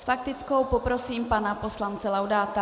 S faktickou poprosím pana poslance Laudáta.